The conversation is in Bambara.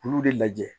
K'olu de lajɛ